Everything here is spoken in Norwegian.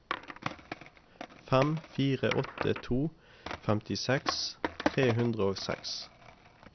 fem fire åtte to femtiseks tre hundre og seks